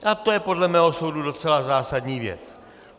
A to je podle mého soudu docela zásadní věc.